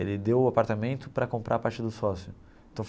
Ele deu o apartamento para comprar a parte do sócio.